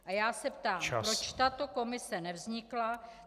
A já se ptám, proč tato komise nevznikla.